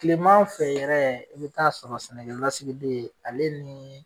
kilema fɛ yɛrɛ i be ta'a sɔrɔ sɛnɛkɛlasigi den ale nin